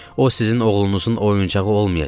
O sizin oğlunuzun oyuncağı olmayacaq.